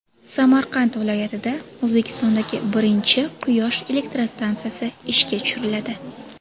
Samarqand viloyatida O‘zbekistondagi birinchi quyosh elektrostansiyasi ishga tushiriladi.